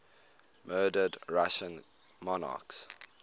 murdered russian monarchs